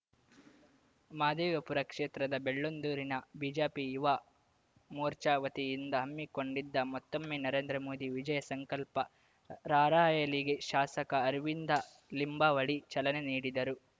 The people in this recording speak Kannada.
ಮಹದೇವಪುರ ಕ್ಷೇತ್ರದ ಬೆಳ್ಳಂದೂರಿನ ಬಿಜೆಪಿ ಯುವ ಮೋರ್ಚಾ ವತಿಯಿಂದ ಹಮ್ಮಿಕೊಂಡಿದ್ದ ಮತ್ತೊಮ್ಮೆ ನರೇಂದ್ರ ಮೋದಿ ವಿಜಯ ಸಂಕಲ್ಪ ರಾರ‍ಯಲಿಗೆ ಶಾಸಕ ಅರವಿಂದ ಲಿಂಬಾವಳಿ ಚಲನೆ ನೀಡಿದರು